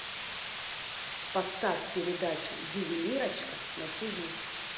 поставь передачу ювелирочка на тиви